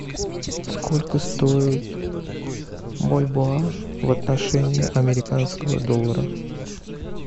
сколько стоит бальбоа в отношении американского доллара